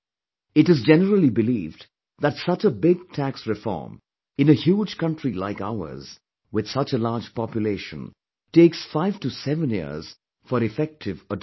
It is generally believed that such a big tax reform, in a huge country like ours with such a large population takes 5 to 7 years for effective adoption